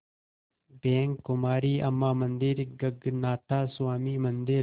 bank Kumari Amman मंदिर गगनाथा स्वामी मंदिर